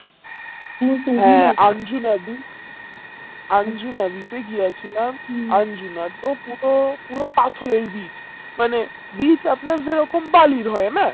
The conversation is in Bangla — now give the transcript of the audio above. হ্যাঁ আনজু নদী আনজু নদীতে গিয়াছিলাম আনজু নদ তো পুরো পুরো পাথরের beach মানে beach আপনার যেরকম বালির হয় না